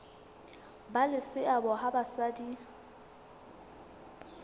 ba le seabo ha basadi